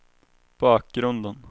bakgrunden